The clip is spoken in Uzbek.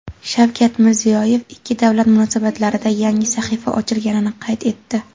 Shavkat Mirziyoyev ikki davlat munosabatlarida yangi sahifa ochilganini qayd etdi.